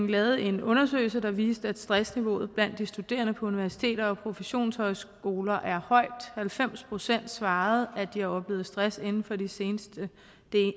lavede en undersøgelse der viste at stressniveauet blandt de studerende på universiteter og professionshøjskoler er højt halvfems procent svarede at de har oplevet stress inden for det seneste